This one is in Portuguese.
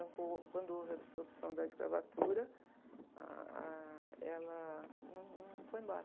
Então, co, quando houve a dissolução da escravatura, ah, ela num, não foi embora.